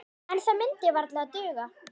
En það myndi varla duga.